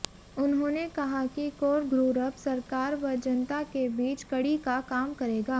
उन्होंने कहा कि कोर गु्रप सरकार व जनता के बीच कड़ी का काम करेगा